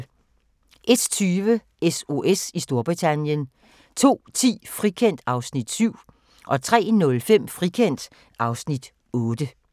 01:20: SOS i Storbritannien 02:10: Frikendt (Afs. 7) 03:05: Frikendt (Afs. 8)